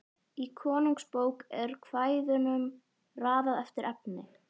Í Konungsbók er kvæðunum raðað eftir efni.